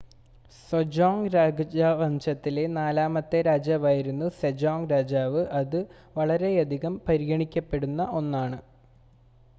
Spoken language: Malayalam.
ജോസോൺ രാജവംശത്തിലെ നാലാമത്തെ രാജാവായിരുന്നു സെജോംഗ് രാജാവ് അത് വളരെയധികം പരിഗണിക്കപ്പെടുന്ന 1 ആണ്